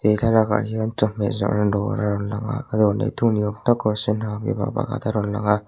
he thlalakah hian chawhmeh zawrhna dawr a rawn lang a a dawr nei tu ni awm tak kar sen ha mipa pakhat a rawn lang a.